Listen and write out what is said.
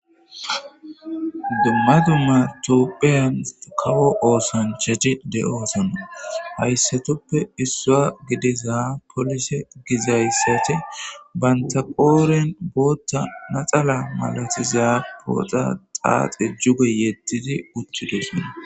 demadumatopheyan kawo oosanchaci de7oosona hayssatoppe issua gidiza polise gizayssate bantaqooren bootta naxala malatiza booxa xaaxe juge yedtidi uttidosona